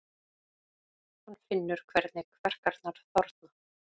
Hann finnur hvernig kverkarnar þorna.